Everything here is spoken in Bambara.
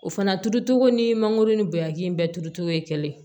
O fana turucogo ni mangoro ni bagaji in bɛɛ turutogo ye kelen ye